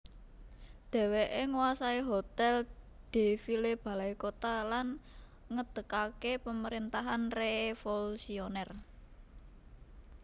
Dèwèké nguwasai Hotèl de Ville Balaikota lan ngedegaké Pamerintahan reévolusionèr